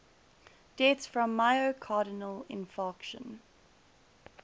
deaths from myocardial infarction